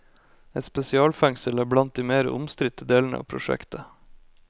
Et spesialfengsel er blant de mer omstridte delene av prosjektet.